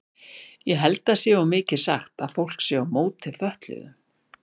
Ég held það sé of mikið sagt að fólk sé á móti fötluðum.